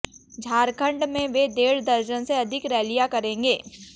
झारखंड में वे डेढ़ दर्जन से अधिक रैलियां करेंगे